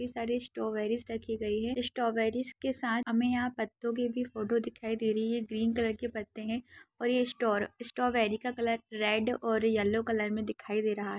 ये सारे स्ट्रॉबेरीज रखी गई है स्ट्रॉबेरीज के साथ हमे यहां पत्तों के भी फोटो दिखाई दे रही है ग्रीन कलर के पत्ते है और ये स्टोर स्ट्रॉबेरीज का कलर रेड और येल्लो कलर मे दिखाई दे रहा है।